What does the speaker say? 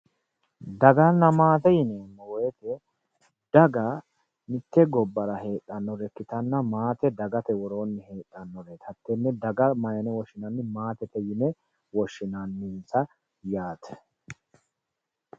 Daganna maate yineemmo woyte daga mitte gobbara heedhanore ikkittanna, maate dagate woroonni heedhanote hatene daga mayine woshshinanni daganna maatete yinne woshshinannitta yaate.